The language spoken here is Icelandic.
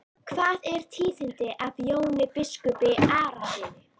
Hvað er tíðinda af Jóni biskupi Arasyni?